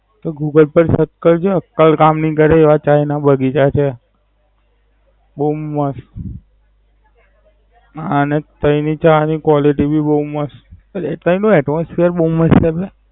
તું Google પર Search કરજે ઉત્તર કામ ની કરે એવા ચાય ના બગીચા છે. બોવ મસ્ત. અને તાઈ ની ચા ની Quality ભી બોવ મસ્ત. એટલે એનું Atmosphere ભી બવ મસ્ત.